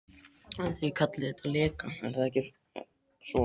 Þið kallið þetta leka, eða er það ekki svo.